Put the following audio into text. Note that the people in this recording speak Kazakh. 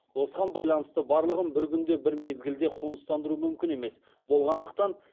осыған байланысты барлығын бір күнде бір мезгілде қоныстандыру мүмкін емес болғандықтан